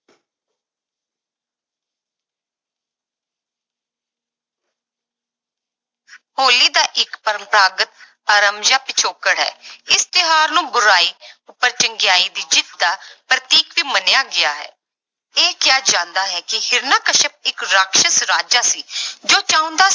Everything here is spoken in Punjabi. ਹੋਲੀ ਦਾ ਇੱਕ ਪਰੰਪਰਾਗਤ ਆਰਮਜਿਆ ਪਿਛੋਕੜ ਹੈ ਇਸ ਤਿਉਹਾਰ ਨੂੰ ਬੁਰਾਈ ਉੱਪਰ ਚੰਗਿਆਈ ਦੀ ਜਿੱਤ ਦਾ ਪ੍ਰਤੀਕ ਵੀ ਮੰਨਿਿਆ ਗਿਆ ਹੈ, ਇਹ ਕਿਹਾ ਜਾਂਦਾ ਹੈ ਕਿ ਹਰਿਕਸ਼ਪ ਇੱਕ ਰਾਖਸਸ ਰਾਜਾ ਸੀ ਜੋ ਚਾਹੁੰਦਾ